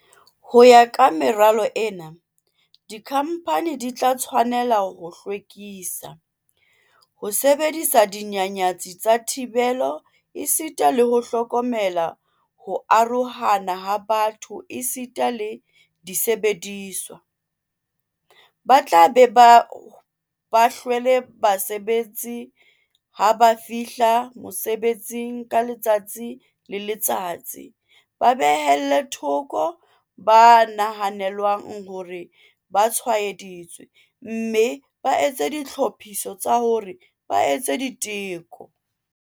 Ho ya ka meralo ena, dikhamphani di tla tshwane-la ho hlwekisa, ho sebedisa dinyanyatsi tsa thibelo esita le ho hlokomela ho arohana ha batho esita le disebediswa, ba tla be ba hlwele basebetsi ha ba fihla mosebetsing ka letsatsi le letsatsi, ba behelle thoko ba nahanelwang hore ba tshwaeditswe mme ba etse ditlhophiso tsa hore ba etswe diteko.